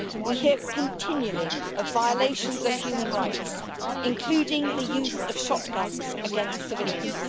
We hear continually of violations of human rights, including the use of shotguns against civilians.